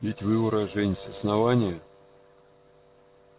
ведь вы уроженец основания